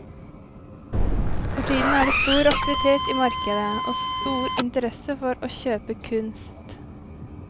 For tiden er det stor aktivitet i markedet og stor interesse for å kjøpe kunst.